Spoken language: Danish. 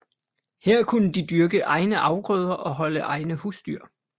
Her kunne de dyrke egne afgrøder og holde egne husdyr